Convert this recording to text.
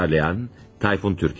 Uyarlayan, Tayfun Türkeli.